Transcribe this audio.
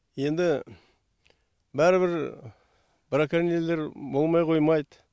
енді бәрібір броконьерлер болмай қоймайды